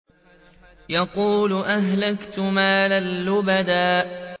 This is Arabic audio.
يَقُولُ أَهْلَكْتُ مَالًا لُّبَدًا